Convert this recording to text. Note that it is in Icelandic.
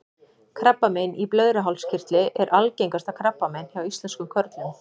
krabbamein í blöðruhálskirtli er algengasta krabbamein hjá íslenskum körlum